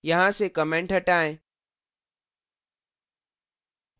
यहाँ से comment हटाएं